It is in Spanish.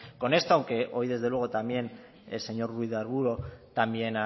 con esto aunque hoy desde luego también el señor ruiz de arbulo también